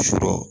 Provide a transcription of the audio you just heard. Sɔrɔ